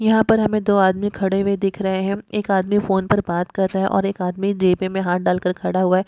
यहाँ पर हमें दो आदमी खड़े हुए दिख रहे हैं एक आदमी फोन पर बात कर रहा है और एक आदमी जेब में हाथ डाल कर खड़ा--